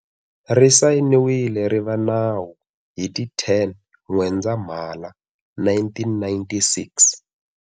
Ri sayiniwile ri va nawu hi ti 10 N'wendzamhala 1996.